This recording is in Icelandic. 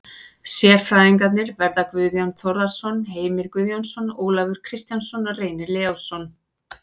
Sérfræðingarnir verða Guðjón Þórðarson, Heimir Guðjónsson, Ólafur Kristjánsson og Reynir Leósson.